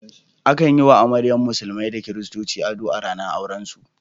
Akan yi wa amaryan musulmi da kiristoci ado a ranar aurensu.